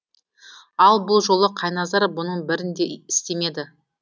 ал бұл жолы қайназар бұның бірін де істемеді